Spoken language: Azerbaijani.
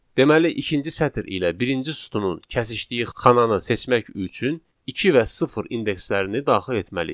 Deməli, ikinci sətr ilə birinci sütunun kəsişdiyi xananı seçmək üçün iki və sıfır indekslərini daxil etməliyik.